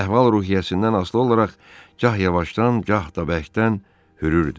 Əhval ruhiyyəsindən asılı olaraq gah yavaşdan, gah da bərkdən hürürdü.